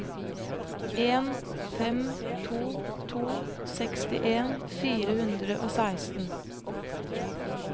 en fem to to sekstien fire hundre og seksten